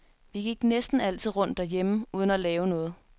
Vi gik næsten altid rundt derhjemme uden at lave noget.